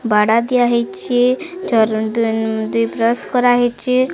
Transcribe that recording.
ବାଡା ଦିଆହେଇଛି ଝରଣ୍ ଦୁଇ-ଦୁଇ ପ୍ରସ୍ କରାହେଇଚି।